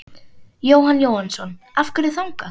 Jóhann Jóhannsson: Af hverju þangað?